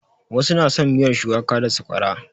Wasu na son miyar shuwaka da sakwara.